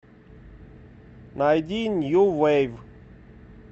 найди нью вейв